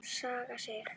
Saga Sig.